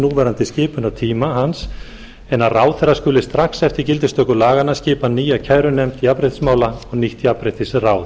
núverandi skipunartíma hans en að ráðherra skuli strax eftir gildistöku laganna skipa nýja kærunefnd jafnréttismála og nýtt jafnréttisráð